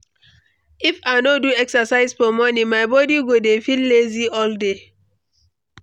If I no do exercise for morning, my body go dey feel lazy all day.